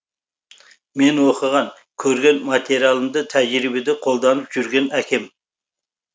мен оқыған көрген материалымды тәжірибеде қолданып жүрген әкем